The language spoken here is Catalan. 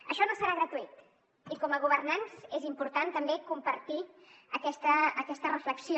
això no serà gratuït i com a governants és important també compartir aquesta reflexió